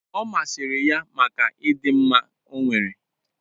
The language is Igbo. Ọ masịrị ya maka ịdị mma ọ nwere.